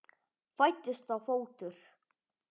Fæddist þá fótur.